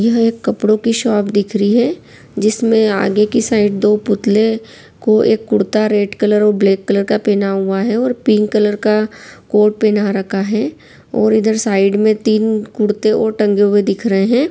यह एक कपड़ो की शॉप दिख रही है जिसमें आगे की तरफ दो पुतले को एक कुर्ता रेड कलर और ब्लैक कलर का पहना हुआ है और पिंक कलर का कोट पहना रखा है और इधर साइड में तीन कुर्ते ओर टंगे हुए दिख रहे है।